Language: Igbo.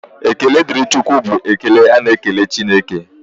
Ekele dịrị Chukwu bụ ekele a na-ekele Chineke.